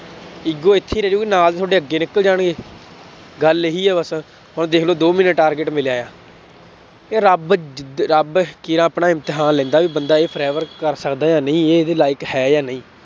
Ego ਇੱਥੇ ਹੀ ਰਹਿ ਜਾਊਗੀ ਨਾਲ ਦੇ ਤੁਹਾਡਾ ਅੱਗੇ ਨਿਕਲ ਜਾਣਗੇ, ਗੱਲ ਇਹੀ ਹੈ ਬਸ ਹੁਣ ਦੇਖ ਲਓ ਦੋ ਮਹੀਨੇ target ਮਿਲਿਆ ਇਹ ਰੱਬ ਜਿਦ ਰੱਬ ਕੇਰਾਂ ਆਪਣਾ ਇਮਤਿਹਾਨ ਲੈਂਦਾ ਵੀ ਬੰਦਾ ਇਹ forever ਕਰ ਸਕਦਾ ਜਾਂ ਨਹੀਂ, ਇਹ ਇਹਦੇ like ਹੈ ਜਾਂ ਨਹੀਂ